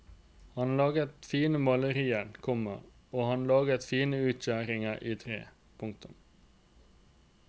Han laget fine malerier, komma og han laget fine utskjæringer i tre. punktum